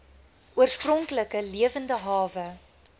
oorspronklike lewende hawe